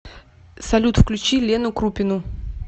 салют включи лену крупину